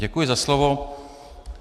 Děkuji za slovo.